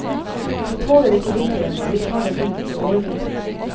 De tåler ikke vinteren, og vi tar dem inn for overvintring.